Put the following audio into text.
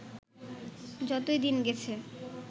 যতই দিন গেছে